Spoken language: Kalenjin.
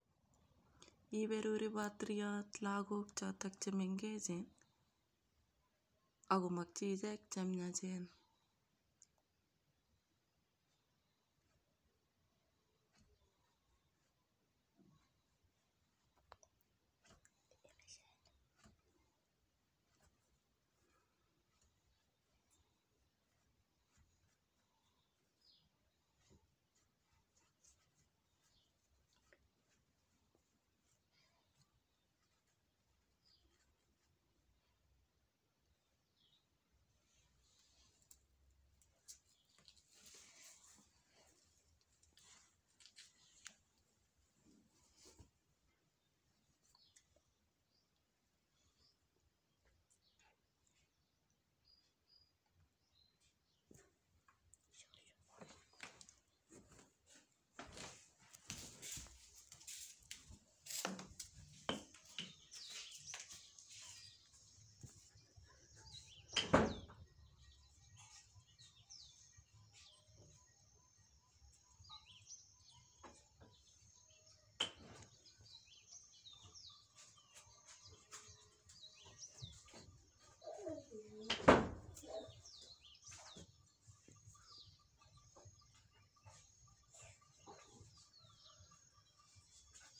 Iberuri patiriot lagook choto che mengechen akomakyi ichek che miachen.